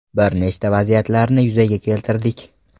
Bir nechta vaziyatlarni yuzaga keltirdik.